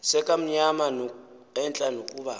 sekamnyama entla nokuba